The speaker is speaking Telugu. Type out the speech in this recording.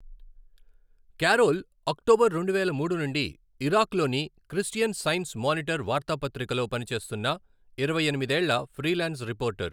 కారోల్ అక్టోబర్ రెండువేల మూడు నుండి ఇరాక్లోని క్రిస్టియన్ సైన్స్ మానిటర్ వార్తాపత్రికలో పనిచేస్తున్న ఇరవై ఎనిమిది ఏళ్ల ఫ్రీలాన్స్ రిపోర్టర్.